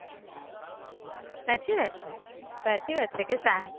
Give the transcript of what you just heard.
સાચી વાત છે, સાચી વાત છે કે કા